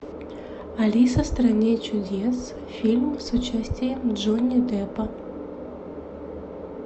алиса в стране чудес фильм с участием джонни деппа